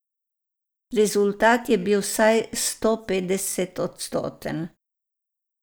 Rezultat je bil vsaj stopetdesetodstoten!